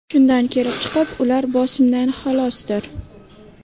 Shundan kelib chiqib ular bosimdan xalosdir.